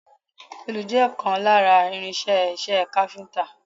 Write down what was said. Òòlù jẹ́ ìkan lára irin-iṣẹ́ iṣẹ́ káfíńńtà.